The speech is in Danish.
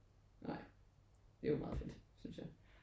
Nej det er jo meget fedt synes jeg